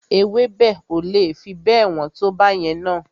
Ewébẹ̀ o le fi bẹ́ẹ̀ wọ́n tó báyẹn na.